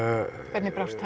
hvernig brást